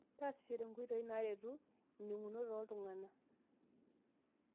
Taasishore nkoitoi naaretu ining'unot ooltung'anak.